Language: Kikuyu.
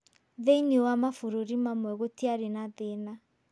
Thĩinĩ wa mabũrũri mamwe gũtiarĩ na thĩĩna.